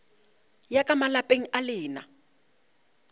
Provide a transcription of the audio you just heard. ya ka malapeng a lena